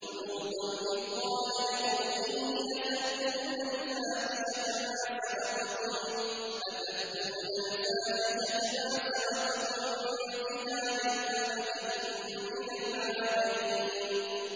وَلُوطًا إِذْ قَالَ لِقَوْمِهِ أَتَأْتُونَ الْفَاحِشَةَ مَا سَبَقَكُم بِهَا مِنْ أَحَدٍ مِّنَ الْعَالَمِينَ